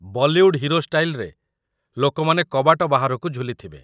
Bollywood hero ଷ୍ଟାଇଲ୍‌ରେ ଲୋକମାନେ କବାଟ ବାହାରକୁ ଝୁଲିଥିବେ ।